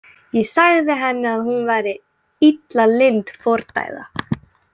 Ég sagði henni að hún væri illa lynd fordæða.